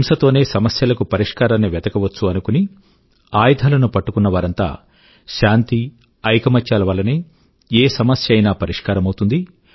హింస తోనే సమస్యల కు పరిష్కారాన్ని వెతకవచ్చు అనుకుని ఆయుధాల ను పట్టుకున్నవారంతా శాంతి ఐకమత్యాల వల్లనే ఏ సమస్య అయినా పరిష్కారమవుతుంది